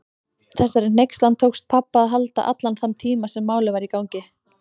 Þessari hneykslan tókst pabba að halda allan þann tíma sem Málið var í gangi.